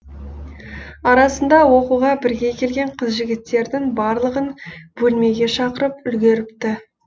арасында оқуға бірге келген қыз жігіттердің барлығын бөлмеге шақырып үлгеріпті